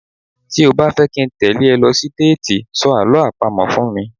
Tí o bá fẹ́ kí n tẹ́lẹ̀ ẹ lọ sí déètì, sọ Àlọ́ àpamọ̀ fún mi.